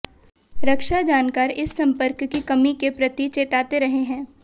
रक्षा जानकार इस संपर्क की कमी के प्रति चेताते रहे हैं